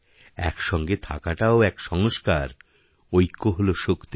একসঙ্গে থাকাটাও এক সংস্কারঐক্য হল শক্তি